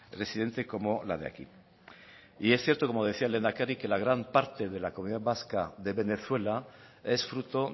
residente como la de aquí y es cierto como decía el lehendakari que la gran parte de la comunidad vasca de venezuela es fruto